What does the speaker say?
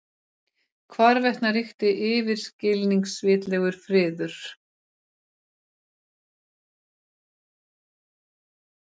Hvarvetna ríkti yfirskilvitlegur friður.